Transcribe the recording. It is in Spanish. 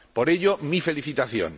Por ello, mi felicitación.